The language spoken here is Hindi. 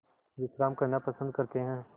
विश्राम करना पसंद करते हैं